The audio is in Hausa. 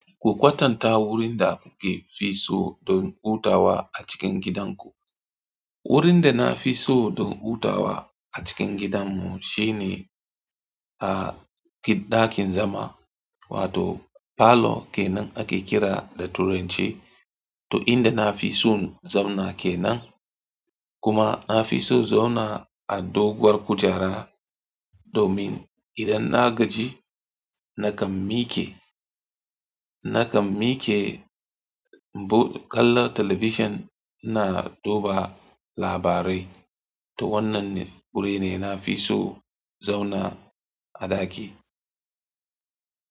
Ku kwatanta wurin da kuke fi so don hutawa a cikin gidanku. Wurin da na fi so don hutawa a cikin gidanmu shine a ɗakin zama wato parlour kenan ake kira da turanci, to inda na fi son zauna kenan. Kuma na fi so zauna a doguwar kujera domin idan na gaji nakan miƙe, nakan miƙe kallon talabijin ina duba labarai. To wannanne guri ne na fi so zauna a ɗaki.